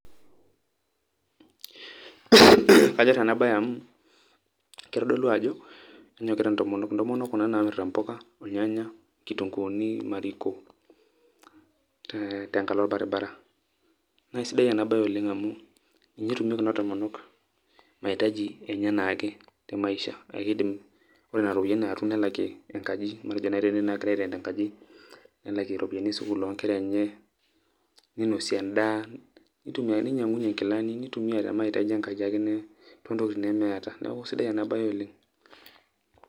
Kanyor enabae amu, kitodolu ajo, kenyokita ntomonok, ntomonok kuna namirta mpuka, ornyanya, nkitunkuuni, mariko, tenkalo orbaribara. Na sidai enabae oleng' amu, ninye etumie kuna tomonok mahitaji enye enaake temaisha, na kidim ore nena ropiyaiani natum nelakie enkaji, matejo nai tenetii nagira ai rent enkaji, nelakie ropiyaiani esukuul onkera enye, ninosie endaa, ninyang'unye nkilani, nitumia tole mahitaji enkaji ake tontokiting nemeeta. Neeku sidai enabae oleng'.